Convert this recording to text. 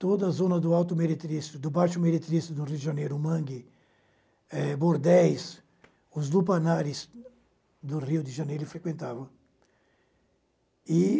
Toda a zona do Alto Meretrístico, do Baixo Meretrístico do Rio de Janeiro, Mangue, eh Bordéis, os lupanares do Rio de Janeiro, ele frequentava. E